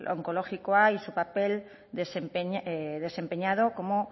onkologikoa y su papel desempeñado como